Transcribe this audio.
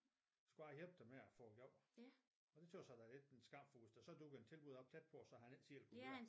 Så bare hjælpe dem at få job og det tøs jeg da er lidt en skam for hvis der så dukkede et tilbud op tæt på så han ikke selv kunne køre